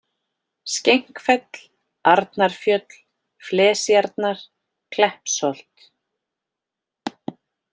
Skenkfell, Arnarfjöll, Flesjarnar, Kleppsholt